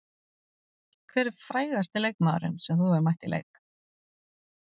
Hver er frægasti leikmaðurinn sem þú hefur mætt í leik?